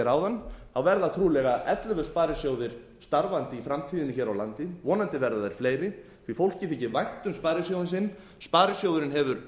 áðan verða trúlega ellefu sparisjóðir starfandi í framtíðinni hér á landi vonandi verða þeir fleiri því fólki þykir væntu um sparisjóðinn sinn sparisjóðurinn hefur